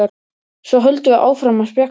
Svo höldum við áfram að spjalla.